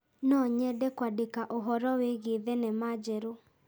No nyende kũandĩka ũhoro wĩgiĩ thenema njerũ.